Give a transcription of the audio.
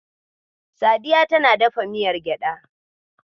Sadiya tana dafa miyar gyaɗa.